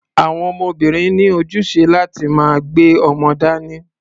Àwọn obìnrin ní ojúṣe láti máa gbé ọmọ dání.